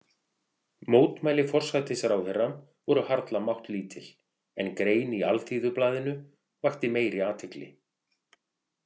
Mótmæli forsætisráðherra voru harla máttlítil, en grein í Alþýðublaðinu vakti meiri athygli.